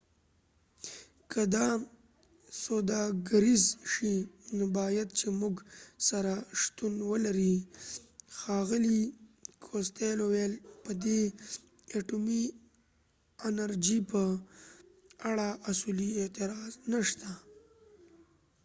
که دا سوداګریز شي نو بايد چي موږ سره شتون ولرې ښاغلي کوستیلو وویل په دي اټومي انرژۍ په اړه اصولي اعتراض نشته